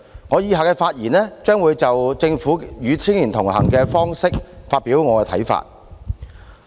我接着的發言將會就政府"與青年同行"的方式發表我的看法。